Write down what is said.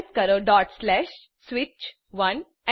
type કરો switch1